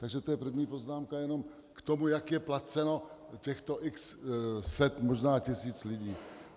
Takže to je první poznámka jenom k tomu, jak je placeno těchto x set, možná tisíc lidí.